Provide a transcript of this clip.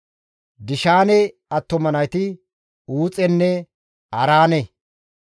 Dishaane attuma nayti Uuxenne Araane.